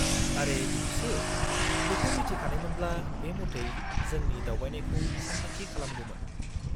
-आरे बिदिसो, बेखौ मिथिखानायमोनब्ला बे मथै जोंनि दावबायनायखौ सानथांखि खालामगौमोन।